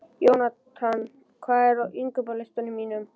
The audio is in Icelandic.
Jónatan, hvað er á innkaupalistanum mínum?